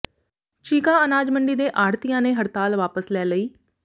ਚੀਕਾ ਅਨਾਜ ਮੰਡੀ ਦੇ ਆੜ੍ਹਤੀਆਂ ਨੇ ਹੜਤਾਲ ਵਾਪਸ ਲੈ ਲਈ